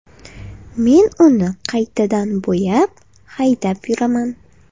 Men uni qaytadan bo‘yab, haydab yuraman.